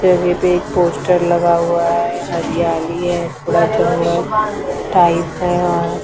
पे एक पोस्टर लगा हुआ है हरियाली है थोड़ा टाइप है और--